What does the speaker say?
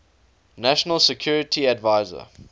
national security advisor